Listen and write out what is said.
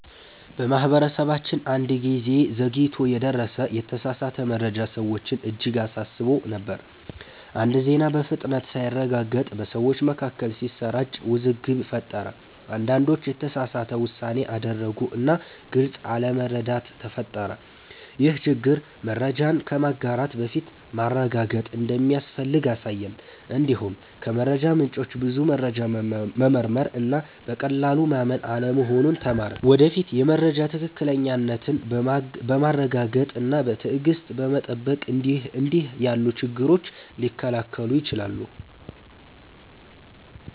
በማህበረሰባችን አንድ ጊዜ ዘግይቶ የደረሰ የተሳሳተ መረጃ ሰዎችን እጅግ አሳስቦ ነበር። አንድ ዜና በፍጥነት ሳይረጋገጥ በሰዎች መካከል ሲሰራጭ ውዝግብ ፈጠረ። አንዳንዶች የተሳሳተ ውሳኔ አደረጉ እና ግልጽ አለመረዳት ተፈጠረ። ይህ ችግር መረጃን ከማጋራት በፊት ማረጋገጥ እንደሚያስፈልግ አሳየን። እንዲሁም ከመረጃ ምንጮች ብዙ መረጃ መመርመር እና በቀላሉ ማመን አለመሆኑን ተማርን። ወደፊት የመረጃ ትክክለኛነትን በማረጋገጥ እና በትዕግሥት በመጠበቅ እንዲህ ያሉ ችግሮች ሊከላከሉ ይችላሉ።